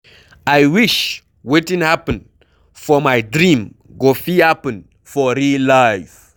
I wish wetin happen for my dream go fit happen for real life.